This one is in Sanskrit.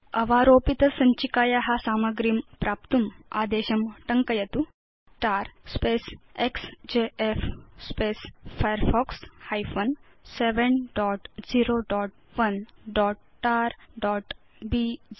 अधस्तन आदेशं टङ्कयित्वा अवारोपित सञ्चिकाया सामग्रीं प्राप्नोतु तर एक्सजेएफ firefox 701tarबीज़2